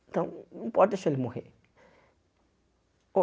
Então, não pode deixar ele morrer.